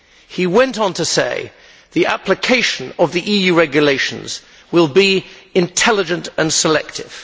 He went on to say the application of the EU regulations will be intelligent and selective.